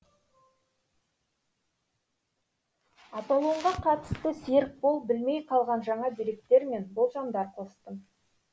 аполлонға қатысты серікбол білмей қалған жаңа деректер мен болжамдар қостым